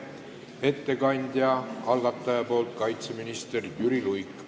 Ettekandja algataja nimel on kaitseminister Jüri Luik.